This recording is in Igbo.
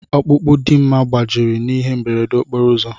Ọkpụkpụ Dimma gbajiri n'ihe mberede okporo ụzọ.